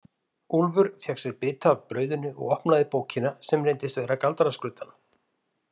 Úlfur fékk sér bita af brauðinu og opnaði bókina sem reyndist vera galdraskruddan.